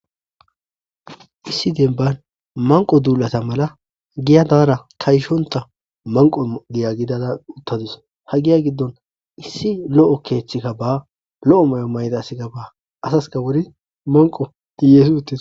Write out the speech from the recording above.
Issi dembban manqqo duulata mala giya daara kayshonta manqqo giya gidada uttadus. ha giya giddon issi lo'o keeththikka ba lo'o may'o mayida asika ba asayka wuri manqqo hiyeessi uttis.